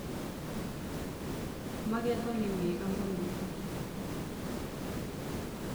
magetho nĩ mega mũno